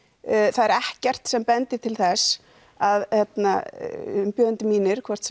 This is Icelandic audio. það er ekkert sem bendir til þess að umbjóðendur mínir hvort